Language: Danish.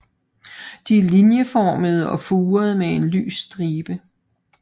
De er linjeformede og furede med en lys stribe